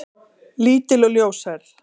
Lítil og ljóshærð.